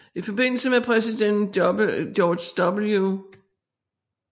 I forbindelse med præsident George W